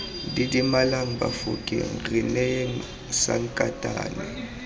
didimalang bafokeng re neyeng sankatane